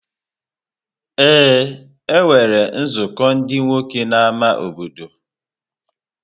Ee, e nwere nzukọ ndị nwoke n’ámá obodo.